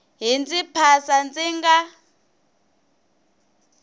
yi ndzi phasa ndzi nga